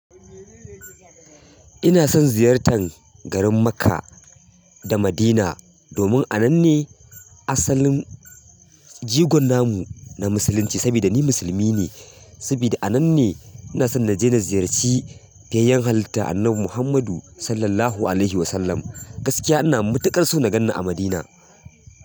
Ina son ziyartan garin Makkah da Madinah domin a nan ne asalin jigon namu na musulunci. Sabida ni musulmi ne, sabida a nan ne ina so na je na ziyarci fiyayyen halitta annabi Muhammadu Sallallahu Alaihi Wasallam. Gaskiya ina matuƙar so na ganni a Madinah.